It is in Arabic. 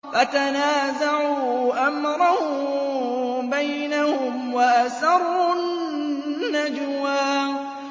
فَتَنَازَعُوا أَمْرَهُم بَيْنَهُمْ وَأَسَرُّوا النَّجْوَىٰ